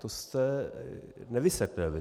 To jste nevysvětlil.